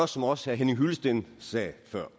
som også herre henning hyllested sagde før